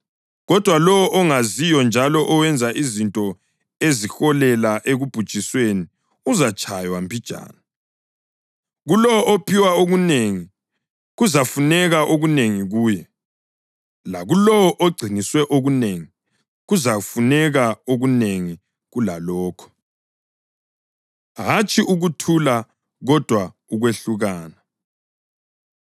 Kodwa lowo ongaziyo njalo owenza izinto eziholela ekubhujisweni uzatshaywa mbijana. Kulowo ophiwe okunengi, kuzafuneka okunengi kuye; lakulowo ogciniswe okunengi, kuzafuneka okunengi kulalokho.” Hatshi Ukuthula Kodwa Ukwehlukana